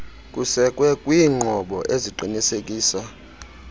kusekwe kwiinqobo eziqinisekisa